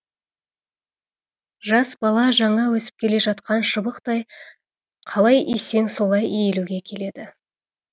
жас бала жаңа өсіп келе жатқан шыбықтай қалай исең солай иілуге келеді